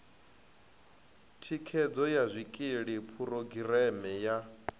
thikhedzo ya zwikili phurogireme ya